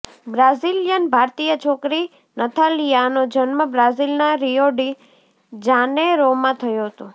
Brazilian ભારતીય છોકરી નથાલિયાનો જન્મ બ્રાઝિલના રિયો ડી જાનેરોમાં થયો હતો